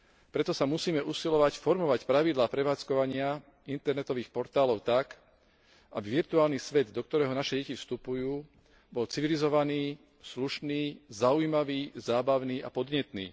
Preto sa musíme usilovať formovať pravidlá prevádzkovania internetových portálov tak, aby virtuálny svet, do ktorého naše deti vstupujú, bol civilizovaný, slušný, zaujímavý, zábavný a podnetný.